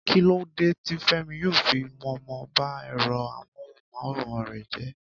Kí lódé tí Fẹ́mi yóò fi mọ̀ọ́mọ̀ ba ẹ̀rọ amóhùn-máwòrán rẹ̀ jẹ́?